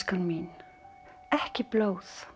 mín ekki blóð